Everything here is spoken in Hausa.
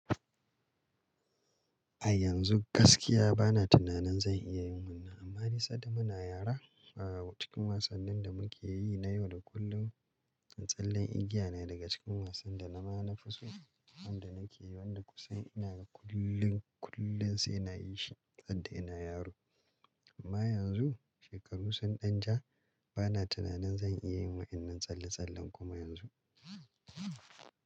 A yanzu gaskiya bana tunanin zan iya yin wannan, amma nisan da muna yara, awww cikin wasannin da muke yi na yau da kullum, tsallen igiya ne daga cikin wasan da na ma na fi so wanda nake yi, wanda kusan ina kullum, kullum sai na yi shi sadde ina yaro. Amma yanzu shekaru sun ɗan ja, bana tunanin zan iya yin wa'inan tsalle-tsallen kuma yanzu.